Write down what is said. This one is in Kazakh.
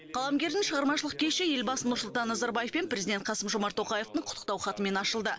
қаламгердің шығармашылық кеші елбасы нұрсұлтан назарбаев пен президент қасым жомарт тоқаевтың құттықтау хатымен ашылды